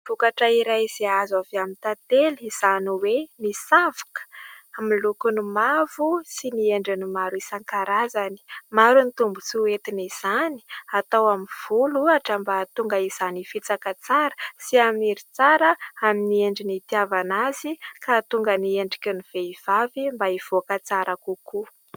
Vokatra iray izay azo avy amin'ny tately izany hoe ny savoka amin'ny lokony mavo sy ny endriny maro isankarazany. Maro ny tombontsoa entin' izany, atao amin'ny volo ohatra mba hahatonga izany hifitsaka tsara sy haniry tsara amin'ny endriny itiavana azy, ka hahatonga ny endriky ny vehivavy mba hivoaka tsara kokoa.